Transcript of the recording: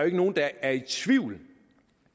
ikke nogen der er i tvivl